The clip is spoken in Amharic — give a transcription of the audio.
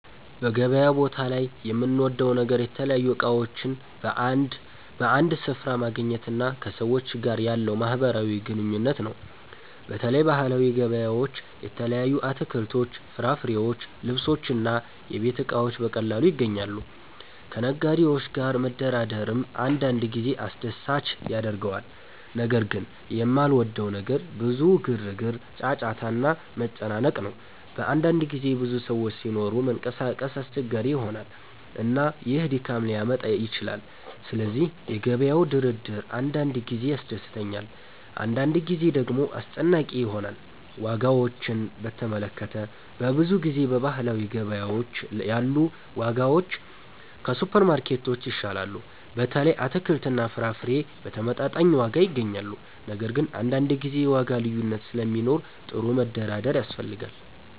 በገበያ ቦታ ላይ የምወደው ነገር የተለያዩ እቃዎችን በአንድ ስፍራ ማግኘት እና ከሰዎች ጋር ያለው ማህበራዊ ግንኙነት ነው። በተለይ ባህላዊ ገበያዎች የተለያዩ አትክልቶች፣ ፍራፍሬዎች፣ ልብሶች እና የቤት እቃዎች በቀላሉ ይገኛሉ። ከነጋዴዎች ጋር መደራደርም አንዳንድ ጊዜ አስደሳች ያደርገዋል። ነገር ግን የማልወደው ነገር ብዙ ግርግር፣ ጫጫታ እና መጨናነቅ ነው። በአንዳንድ ጊዜ ብዙ ሰዎች ሲኖሩ መንቀሳቀስ አስቸጋሪ ይሆናል፣ እና ይህ ድካም ሊያመጣ ይችላል። ስለዚህ የገበያው ግርግር አንዳንድ ጊዜ ያስደስተኛል፣ አንዳንድ ጊዜ ደግሞ አስጨናቂ ይሆናል። ዋጋዎችን በተመለከተ፣ በብዙ ጊዜ በባህላዊ ገበያዎች ያሉ ዋጋዎች ከሱፐርማርኬቶች ይሻላሉ። በተለይ አትክልትና ፍራፍሬ በተመጣጣኝ ዋጋ ይገኛሉ። ነገር ግን አንዳንድ ጊዜ የዋጋ ልዩነት ስለሚኖር ጥሩ መደራደር ያስፈልጋል።